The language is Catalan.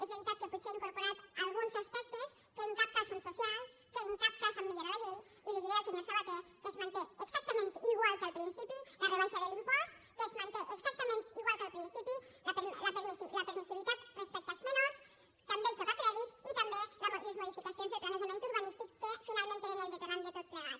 és veritat que potser ha incorporat alguns aspectes que en cap cas són socials que en cap cas han millorat la llei i li diré al senyor sabaté que es manté exactament igual que al principi la rebaixa de l’impost que es manté exactament igual que el principi la permissivitat respecte als menors també el joc a crèdit i també les modificacions del planejament urbanístic que finalment eren el detonant de tot plegat